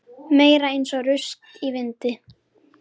Meira eins og rusl í vindi.